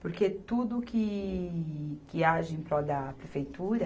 Porque tudo que, que age em prol da prefeitura